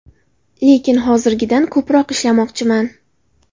Lekin hozirgidan ko‘proq ishlamoqchiman.